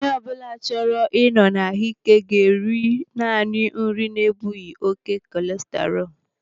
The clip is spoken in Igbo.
Onye ọbụla chọrọ ị nọ n'ahụ ike ga-eri naanị nri na-ebughi oké kọleserọlu.